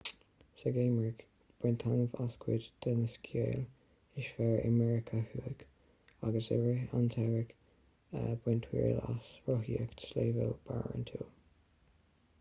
sa gheimhreadh bain taitneamh as cuid de na sciáil is fearr i meiriceá thuaidh agus i rith an tsamhraidh bain triail as rothaíocht sléibhe barántúil